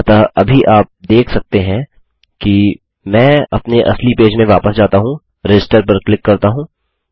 अतः अभी आप देख सकते हैं कि मैं अपने असली पेज में वापस जाता हूँ रजिस्टर पर क्लिक करता हूँ